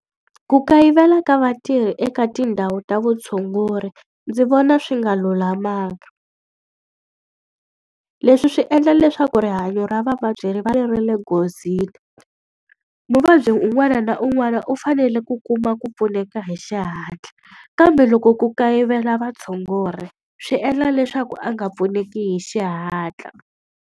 Ku kayivela ka vatirhi eka tindhawu ta vutshunguri. ndzi vona swi nga lulamanga. Leswi swi endla leswaku rihanyo ra vavabyi ri va ri ri le nghozini. Muvabyi un'wana na un'wana u fanele ku kuma ku pfuneka hi xihatla, kambe loko ku kayivela vatshunguri swi endla leswaku a nga pfuneki hi xihatla.